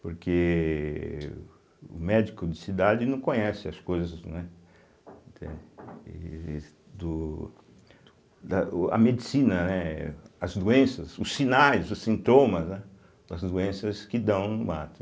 Porque o médico de cidade não conhece as coisas, né, entende, e do da a medicina, né, eh as doenças, os sinais, os sintomas, né dessas doenças que dão no mato.